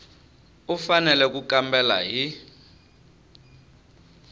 u fanele ku kambela hi